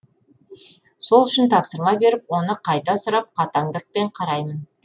сол үшін тапсырма беріп оны қайта сұрап қатаңдықпен қараймын